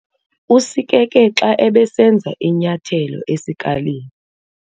Usikeke xa ebesenza inyathelo esikalini.